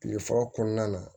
Kile fɔlɔ kɔnɔna na